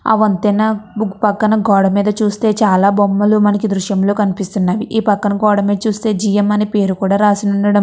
అ వంతెన బుక్ పక్కన గోడ మీద చూస్తే చాలా బొమ్మలు మనకు దృశ్యంలో కనిపిస్తున్నది. ఈ పక్కన కోవడమే చూస్తే జి_ఎం అని పేరు కూడా రాసిన ఉండడం --